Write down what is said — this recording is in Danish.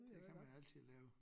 Det kan man altid lave